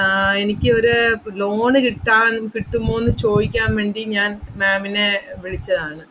ആഹ് എനിക്ക് ഒരു ഇപ്പൊ loan കിട്ടാൻ കിട്ടുമോന്ന് ചോദിക്കാൻ വേണ്ടി ഞാൻ ma'am നെ വിളിച്ചതാണ്,